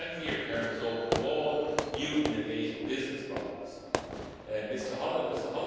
models. A 70 year term is open to all new innovative business